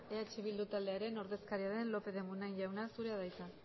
eh bildu taldearen ordezkaria den lópez de munain jauna zurea da hitza